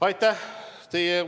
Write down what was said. Aitäh!